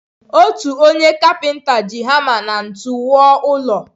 Otu onye kapinta ji hama na ntu wuo ụlọ.